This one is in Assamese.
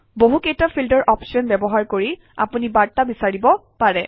বহুকেইটা ফিল্টাৰ অপশ্যন ব্যৱহাৰ কৰি আপুনি বাৰ্তা বিচাৰিব পাৰে